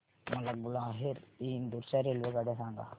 मला ग्वाल्हेर ते इंदूर च्या रेल्वेगाड्या सांगा